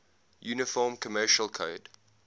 uniform commercial code